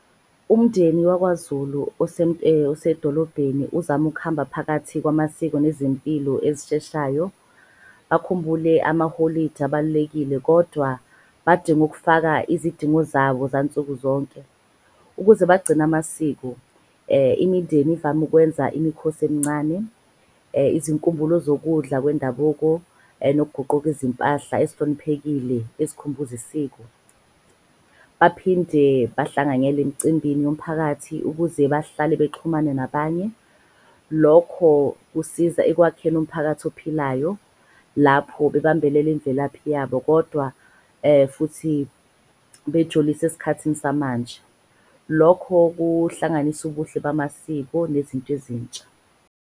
Umndeni wakwaZulu osedolobheni uzama ukuhamba phakathi kwamasiko nezempilo ezisheshayo. Bakhumbule amaholidi abalulekile kodwa badinga ukufaka izidingo zabo zansukuzonke. Ukuze bagcine amasiko, imindeni ivame kwenza imikhosi emncane. Izinkumbulo zokudla kwendabuko nokuguquki izimpahla ezihloniphekile ezikhumbuza isiko, baphinde bahlanganyele emcimbini womphakathi ukuze bahlale bexhumane nabanye. Lokho kusiza ekwakheni umphakathi ophilayo lapho bebambelele imvelaphi yabo, kodwa futhi esikhathini samanje. Lokho kuhlanganisa ubuhle bamasiko nezinto ezintsha.